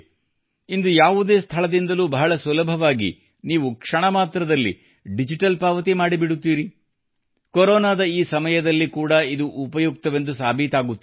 ಇಂದು ಯಾವುದೇ ಸ್ಥಳದಿಂದಲೂ ಬಹಳ ಸುಲಭವಾಗಿ ನೀವು ಕ್ಷಣ ಮಾತ್ರದಲ್ಲಿ ಡಿಜಿಟಲ್ ಪಾವತಿ ಮಾಡಿಬಿಡುತ್ತೀರಿ ಕೊರೋನಾದ ಈ ಸಮಯದಲ್ಲಿ ಕೂಡಾ ಬಹಳ ಉಪಯುಕ್ತವೆಂದು ಸಾಬೀತಾಗುತ್ತಿದೆ